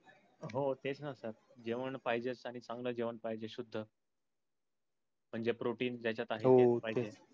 हो तेच ना सर. जेवण पाहिजे आणि चांगल जेवण पाहिजे शुद्द म्हंजे protein त्याजात आहेत पाहिजे.